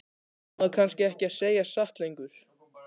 Á maður kannski ekki að segja satt lengur?